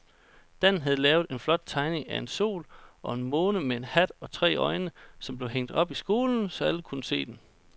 Dan havde lavet en flot tegning af en sol og en måne med hat og tre øjne, som blev hængt op i skolen, så alle kunne se den.